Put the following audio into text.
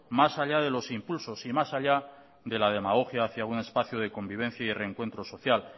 más allá de los impulsos y más allá de la demagogia hacia un espacio de convivencia y reencuentro social